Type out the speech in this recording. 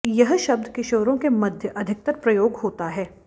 यह शब्द किशोरों के मध्य अधिकतर प्रयोग होता है